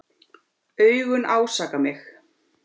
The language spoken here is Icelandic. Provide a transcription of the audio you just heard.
Augun ásaka mig.